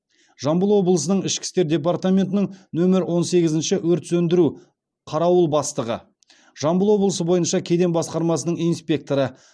жамбыл облысының ішкі істер департаментінің нөмір он сегізінші өрт сөндіру қарауыл бастығы жамбыл облысы бойынша кеден басқармасының инспекторы